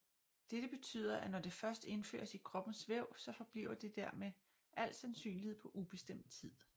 Dette betyder at når det først indføres i kroppens væv så forbliver det der med al sandsynlighed på ubestemt tid